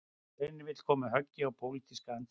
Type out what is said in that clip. Reynir vill koma höggi á pólitíska andstæðinga